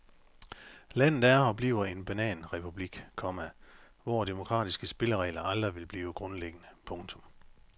Landet er og bliver en bananrepublik, komma hvor demokratiske spilleregler aldrig vil blive grundlæggende. punktum